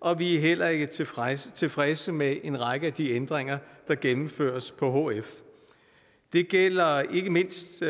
og vi er heller ikke tilfredse tilfredse med en række af de ændringer der gennemføres på hf det gælder ikke mindst